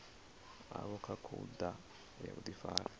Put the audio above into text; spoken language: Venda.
havho kha khoudu ya vhudifari